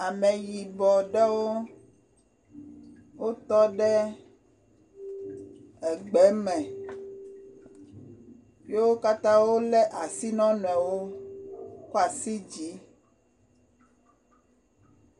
Ameyibɔ ɖewo wotɔ ɖe egbe me, ye wo kayã wolé asi na wo nɔnɔewo kɔ asi yi dzi.